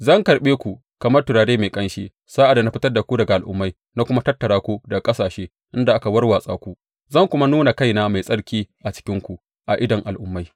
Zan karɓe ku kamar turare mai ƙanshi sa’ad da na fitar da ku daga al’ummai na kuma tattara ku daga ƙasashe inda aka warwatsa ku, zan kuma nuna kaina mai tsarki a cikinku a idon al’ummai.